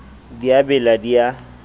di a bela di a